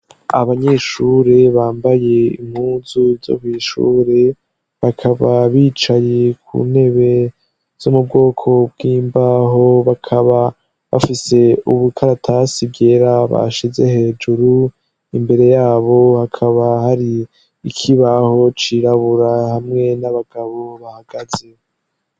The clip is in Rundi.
abanyeshure bambaye impunzu ai kwishure bakaba bicaye ku ntebe z'umubwoko bw'imbaho bakaba bafise ubukaratasi bwera bashize hejuru imbere yabo hakaba hari ikibaho cirabura hamwe n'abagabo bahagaze